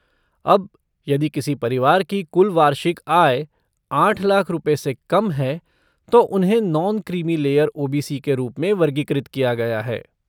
अब, यदि किसी परिवार की कुल वार्षिक आय आठ लाख रुपए से कम है तो उन्हें non creamy layer O B C के रूप में वर्गीकृत किया गया है